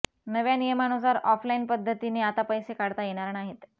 नव्या नियमानुसार ऑफलाईन पद्दतीने आता पैसे काढता येणार नाहीत